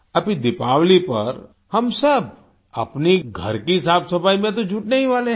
अभी दीपावली पर हम सब अपनी घर की साफ़ सफाई में तो जुटने ही वाले हैं